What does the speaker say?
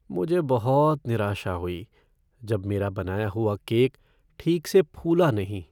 मुझे बहुत निराशा हुई जब मेरा बनाया हुआ केक ठीक से फूला नहीं।